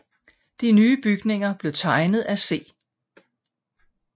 De nye bygninger blev tegnet af C